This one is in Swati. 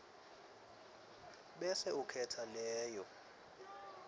bese ukhetsa leyo